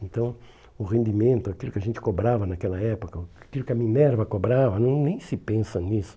Então, o rendimento, aquilo que a gente cobrava naquela época, aquilo que a Minerva cobrava, não nem se pensa nisso.